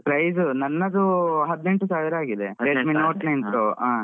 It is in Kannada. Price ನನ್ನದು ಹದಿನೆಂಟು ಸಾವಿರ ಆಗಿದೆ. Redmi note nine pro.